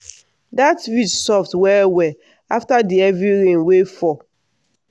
dat ridge soft well well after di heavy rain wey fall.